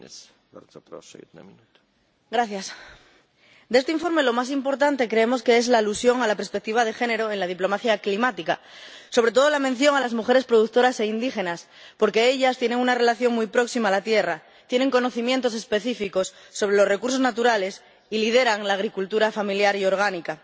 Señor presidente, de este informe, lo más importante creemos que es la alusión a la perspectiva de género en la diplomacia climática, sobre todo la mención a las mujeres productoras e indígenas, porque ellas tienen una relación muy próxima a la tierra, tienen conocimientos específicos sobre los recursos naturales y lideran la agricultura familiar y ecológica.